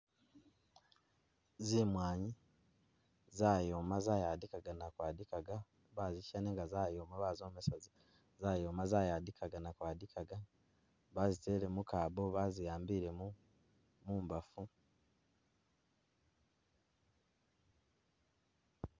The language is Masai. Zimwanyi zayoma zayadikaga nakwadikaga, bazisha nenga zayoma bazomesa zayoma zayadikaga nakwadikaga bazitele mukabo bazi ambile mumbafu.